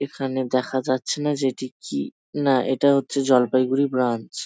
এখানে দেখা যাচ্ছে না যে এটি কি। না এটা হচ্ছে জলপাইগুড়ি ব্রাঞ্চ ।